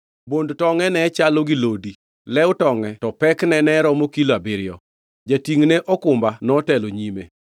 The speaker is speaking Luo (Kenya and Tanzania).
Bond tongʼe ne chalo gi lodi, lew tonge to pekne ne romo kilo abiriyo. Jatingʼne okumba notelo nyime.